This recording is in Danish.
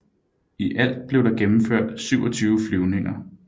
I alt blev der gennemført 27 flyvninger